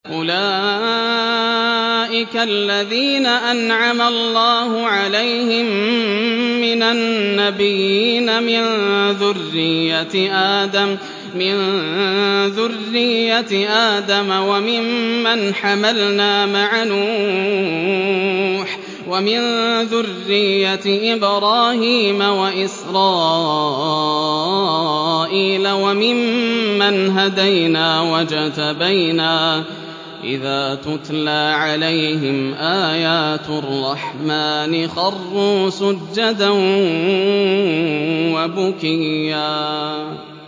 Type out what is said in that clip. أُولَٰئِكَ الَّذِينَ أَنْعَمَ اللَّهُ عَلَيْهِم مِّنَ النَّبِيِّينَ مِن ذُرِّيَّةِ آدَمَ وَمِمَّنْ حَمَلْنَا مَعَ نُوحٍ وَمِن ذُرِّيَّةِ إِبْرَاهِيمَ وَإِسْرَائِيلَ وَمِمَّنْ هَدَيْنَا وَاجْتَبَيْنَا ۚ إِذَا تُتْلَىٰ عَلَيْهِمْ آيَاتُ الرَّحْمَٰنِ خَرُّوا سُجَّدًا وَبُكِيًّا ۩